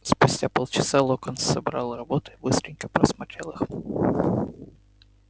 спустя полчаса локонс собрал работы и быстренько просмотрел их